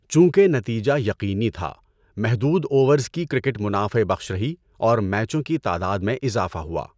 چونکہ نتیجہ یقینی تھا، محدود اوورز کی کرکٹ منافع بخش رہی اور میچوں کی تعداد میں اضافہ ہوا۔